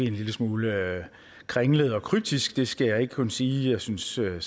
en lille smule kringlet og kryptisk det skal jeg ikke kunne sige jeg synes selv det